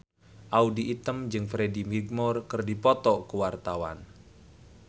Audy Item jeung Freddie Highmore keur dipoto ku wartawan